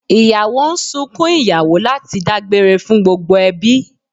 Ìyàwó ń sunkún ìyàwó láti dágbére fún gbogbo ẹbí